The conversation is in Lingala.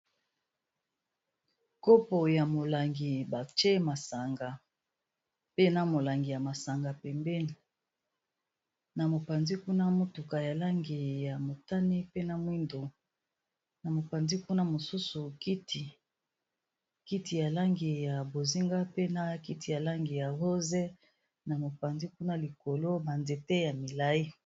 Nkopo ya molangi batié masanga, pe na molangi ya masanga pembéni, na mopanzi kuna motuka ya langi ya motané pe na mwindo, na mopanzi kuna mosusu kiti. Kiti ya langi ya bozinga, pe na kiti ya langi ya rose, na mopanzi kuna likolo ba nzéte ya milayi.